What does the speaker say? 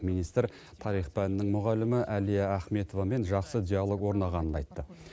министр тарих пәнінің мұғалімі әлия ахметовамен жақсы диалог орнағанын айтты